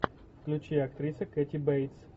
включи актриса кэти бейтс